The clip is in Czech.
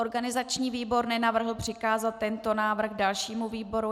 Organizační výbor nenavrhl přikázat tento návrh dalšímu výboru.